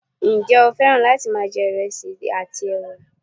njé o fẹràn láti ma je ìresì àti ẹwà